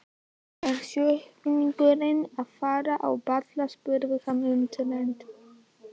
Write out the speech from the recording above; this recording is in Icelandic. Er sjúklingurinn að fara á ball? spurði hann undrandi.